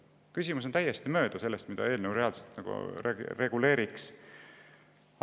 Küsimus on täiesti mööda sellest, mida see eelnõu reaalselt reguleerib.